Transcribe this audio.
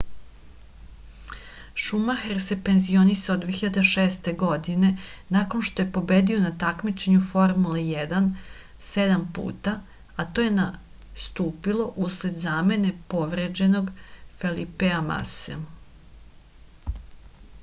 šumaher se penzionisao 2006. godine nakon što je pobedio na takmičenju u formuli 1 sedam puta a to je nastupilo usled zamene povređenog felipea mase